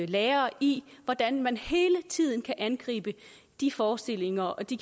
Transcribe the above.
lærere i hvordan man hele tiden kan angribe de forestillinger og de